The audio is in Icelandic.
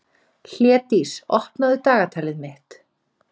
Hlédís, opnaðu dagatalið mitt.